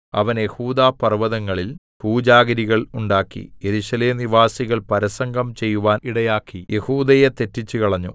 അവൻ യെഹൂദാപർവ്വതങ്ങളിൽ പൂജാഗിരികൾ ഉണ്ടാക്കി യെരൂശലേം നിവാസികൾ പരസംഗം ചെയ്യുവാൻ ഇടയാക്കി യെഹൂദയെ തെറ്റിച്ചുകളഞ്ഞു